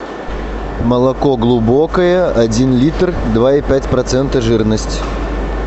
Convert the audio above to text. молоко глубокое один литр два и пять процента жирность